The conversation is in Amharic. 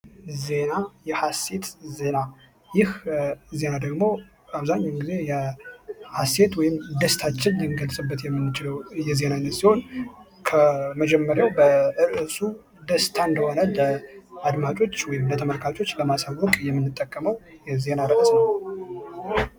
ዜና የሐሰት ዜና ይህ ዜና ደግሞ አብዛኛውን ጊዜ ሀሴት ወይም ደስታቸውን የሚገልፁበት የሚችለው የዜባ አይነት ሲሆን፤ ከመጀመሪያው ደስታ እንደሆነ አድማጮቹ የተመልካቾች በማሰቡ የምትጠቀመው የዜና ርዕስ ነው።